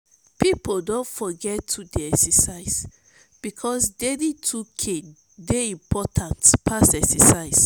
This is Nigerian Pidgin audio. pipo don forget to dey excercise bikos daily 2k dey important pass excercise